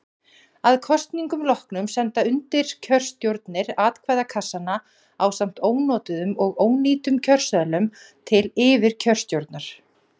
að kosningum loknum senda undirkjörstjórnir atkvæðakassana ásamt ónotuðum og ónýtum kjörseðlum til yfirkjörstjórnar